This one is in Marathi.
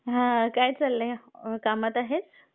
हां, काय चाललंय कामात आहेस?